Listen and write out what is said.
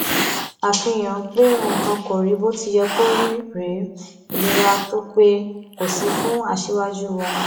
àfihàn pé nǹkan kò rí bó ti yẹ kó rí rèé ìlera tó pé kò sí fún aṣíwájú wa